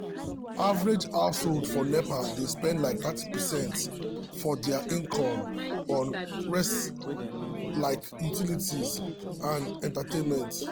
average household for nepa dey spend like thirty percent of dia income on necessities like utilities and entertainment.